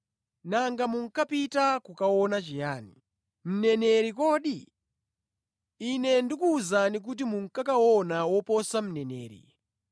Nanga munkapita kukaona chiyani? Mneneri kodi? Inde ndikuwuzani kuti munkakaona woposa mneneri.